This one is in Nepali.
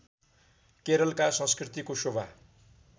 केरलका संस्कृतिको शोभा